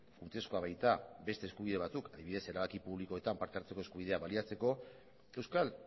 funtsezkoa baita beste eskubide batzuk adibidez erabaki publikoetan parte hartzeko eskubidea baliatzeko euskal